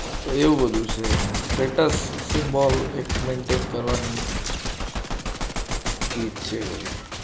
તો એવું બધું છે ને status symbol maintain કરવાની છે